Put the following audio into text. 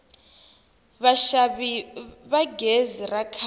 vaxavi va gezi ra khadi